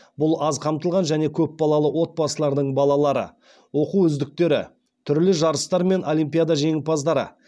бұл аз қамтылған және көпбалалы отбасылардың балалары оқу үздіктері түрлі жарыстар мен олимпиада жеңімпаздары